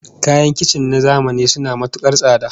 Kayan kicin na zamani suna matukar tsada